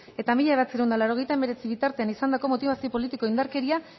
eta mila bederatziehun eta laurogeita hemeretzi bitartean izandako motibazio politikoko indarkeria